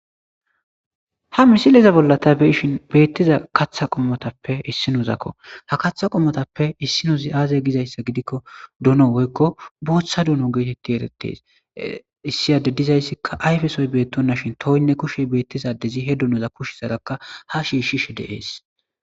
Ha misiliza bolla tabeyishin beettiza kaththa qommotappe issinozakko ha kaththa qommotappe issinozi aaze gizayssa gidikko duno woykko booththa duno geetetti eretes issiyade dizayssikka ayfesoy beettonna shin toinne kushe beettizadezi he dunoza kushi sarakka ha shiishshishe deees